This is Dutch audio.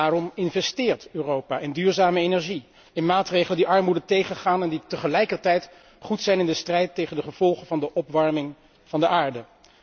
Daarom investeert Europa in duurzame energie, in maatregelen die armoede tegengaan en die tegelijkertijd goed zijn in de strijd tegen de gevolgen van de opwarming van de aarde.